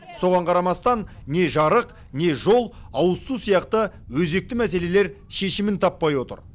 соған қарамастан не жарық не жол ауызсу сияқты өзекті мәселелер шешімін таппай отыр